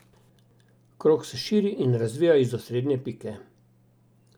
Krog se širi in razvija iz osrednje pike.